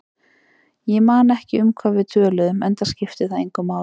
Ég man ekki um hvað við töluðum, enda skipti það engu máli.